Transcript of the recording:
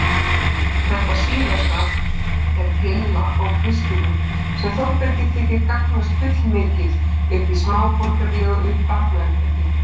Þetta síðasta er pilla á Kristínu sem Þórbergi þykir gangast fullmikið upp í smáborgaralegu barnauppeldi.